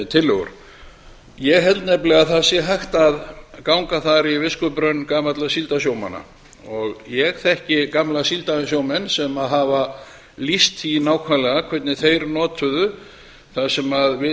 tillögur ég held nefnilega að það sé hægt að ganga þar í viskubrunn gamalla síldarsjómanna og ég þekki gamla síldarsjómenn sem hafa lýst því nákvæmlega hvernig þeir notuðu það sem við